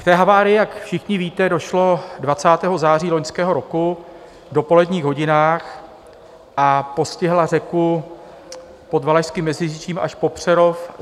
K té havárii, jak všichni víte, došlo 20. září loňského roku v dopoledních hodinách a postihla řeku pod Valašským Meziříčím až po Přerov.